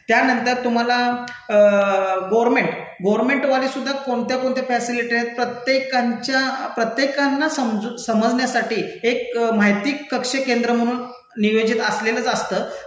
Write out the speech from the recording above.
त्यानंतर तुम्हाला गर्व्हनमेंट, गर्व्हनमेंटवाले सुद्धा कोणत्या कोणत्या फॅसिलिटी नाहीत प्रत्येकांच्या, प्रत्येकांना समजू समजण्यासाठी एक माहिती कक्ष केंद्र म्हणून नियोजित असलेलंच असतं